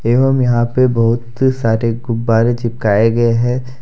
यहां में यहां पे बहुत सारे गुब्बारे चिपकाए गए हैं ।